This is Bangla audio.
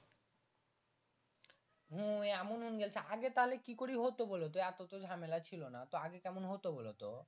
হুম এমন হুং গেল্ছে আগে তাহলে কি করি হতো বোলোতো এত তো ঝামেলা ছিল না